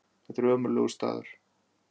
Þetta er ömurlegur staður.